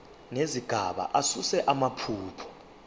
nezigaba asuse amaphutha